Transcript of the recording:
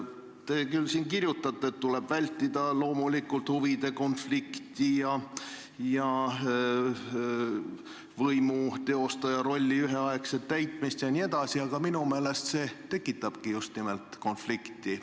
Te küll siin kirjutate, et loomulikult tuleb vältida huvide konflikti ning volikogu liikme ning linna- või vallavalitsuse võimu teostaja rolli üheaegset täitmist jne, aga minu meelest see just nimelt tekitabki konflikti.